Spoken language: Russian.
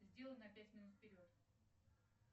сделай на пять минут вперед